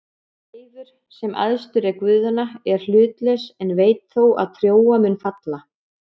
Seifur, sem æðstur er guðanna, er hlutlaus en veit þó að Trója mun falla.